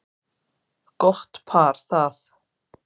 Gott par það.